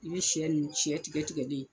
I bɛ sɛ ni sɛ tigɛ tigɛlen